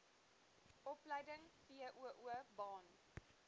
opleiding voo baan